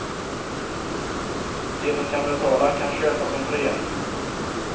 De som kan betala kan köpa sig fria.